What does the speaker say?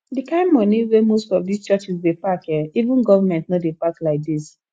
the kyn money wey most of dis churches dey pack eh even government no dey pack like dis